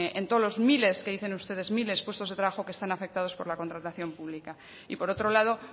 en todos los miles que dicen ustedes miles de puestos de trabajo que están afectados por la contratación pública y por otro lado